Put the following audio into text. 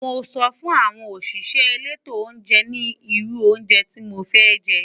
Mo so fun awon osise eto ounje ni oru ounje ti mofe je.